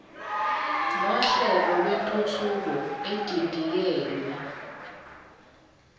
nohlelo lwentuthuko edidiyelwe